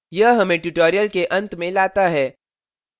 यह हमें tutorial के अंत में लाता है